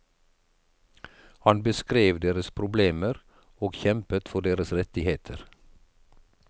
Han beskrev deres problemer, og kjempet for deres rettigheter.